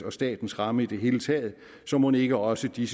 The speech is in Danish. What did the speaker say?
og statens ramme i det hele taget så mon ikke også de